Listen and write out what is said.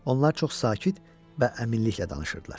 Onlar çox sakit və əminliklə danışırdılar.